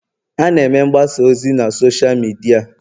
a na-eme mgbasa ozi na Sọsha midia